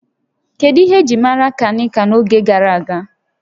Kedu ihe eji maara Kankia n'oge gara aga?